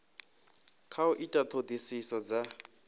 kha u ita ṱhoḓisiso dza